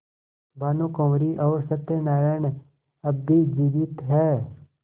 भानुकुँवरि और सत्य नारायण अब भी जीवित हैं